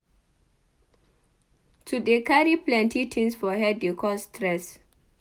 To dey carry plenty tins for head dey cause stress.